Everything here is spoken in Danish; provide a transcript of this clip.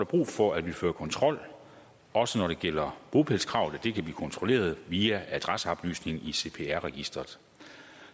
brug for at vi fører kontrol også når det gælder bopælskrav så det kan blive kontrolleret via adresseoplysningen i cpr registeret